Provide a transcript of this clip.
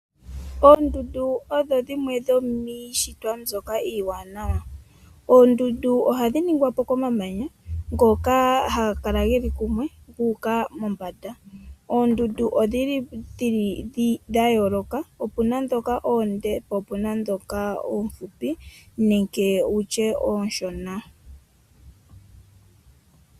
Oondunda odho dhimwe dhomishitwa mbyoka iwanawa, oondundu ohadhi ningwa po komamanya ngoka hangakala ngeli kumwe nguka mombanda, oondundu odhili dhayoloka opuna dhoka oonde po opuna dhoka ofupi nenge wutye oshona.